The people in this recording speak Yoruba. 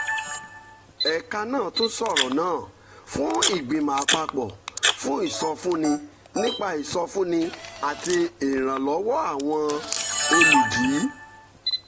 ẹ̀ka náà tún sọ̀rọ̀ náà fún ìgbìmọ̀ àpapọ̀ fún ìsọfúnni nípa ìsọfúnni àti ìrànlọ́wọ́ àwọn olùdi